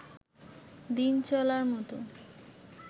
দিন চলার মত